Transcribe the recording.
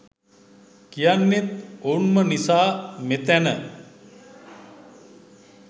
කියන්නෙත් ඔවුන් ම නිසා මෙතැන